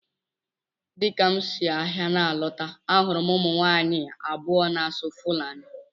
Dịka m si ahịa na-alọta, ahụrụ m ụmụ nwaanyị abụọ na-asụ Fulani.